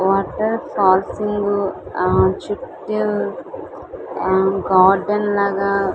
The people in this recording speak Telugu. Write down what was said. వాటర్ పాల్సింగ్ ఆ చుట్టు ఆ గార్డెన్ లాగా --